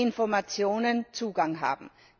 Informationen Zugang haben.